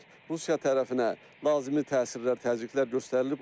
Rusiya tərəfinə lazımi təsirlər, təzyiqlər göstərilib.